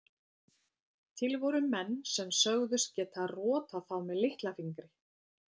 Til voru menn sem sögðust geta rotað þá með litla fingri.